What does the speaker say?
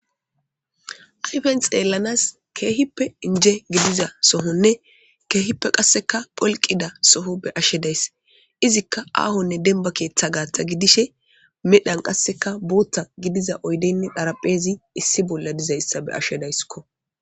Ayfen xeellanas keehippe inje gidiza sohonne keehippe qasseka pholqida soho be ashshedayss izikka aahonne denba keeththa gaatta gidishe medhan qasseka bootta gidiza oydeynne dharapheezi issi bolla dizayssa be ashshe dayskko.